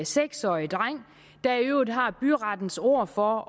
seks årig dreng der i øvrigt har byrettens ord for at